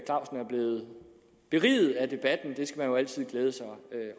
blevet beriget af debatten skal man jo altid glæde sig